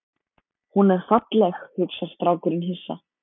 Hún er falleg, hugsar strákurinn hissa.